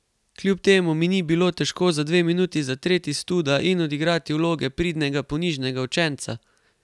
Kljub temu mi ni bilo težko za dve minuti zatreti studa in odigrati vloge pridnega, ponižnega učenca.